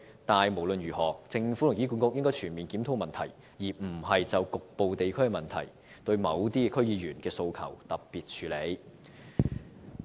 但無論如何，政府和醫管局應全面檢討問題，而非就局部地區的問題對某些區議員的訴求作特別處理。